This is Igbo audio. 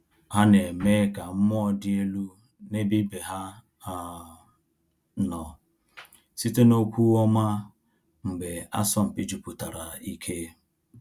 Ha na-eme ka mmụọ dị elu n’ebe ibe ha um nọ site n’okwu ọma mgbe asọmpi jupụtara ike.